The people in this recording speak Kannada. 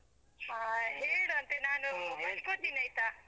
ಹಾ ಹೇಳು ಅಂತೆ ನಾನು ಬರ್ಕೊಳ್ತೀನಿ ಆಯ್ತಾ?